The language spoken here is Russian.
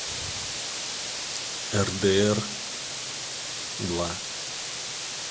рдр два